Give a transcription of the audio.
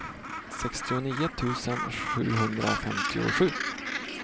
sextionio tusen sjuhundrafemtiosju